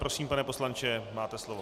Prosím, pane poslanče, máte slovo.